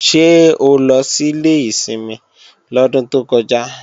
Ṣé o lọ sílé ìsinmi lọ́dún tó kọjá?